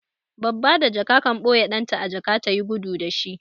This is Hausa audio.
Babba da jaka kan ɓoye ɗan ta a jaka ta yi gudu da shi.